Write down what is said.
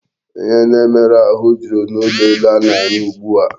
Ihe na-emere ahụ jụrụ n'ulo elu a na-arụ ugbu a.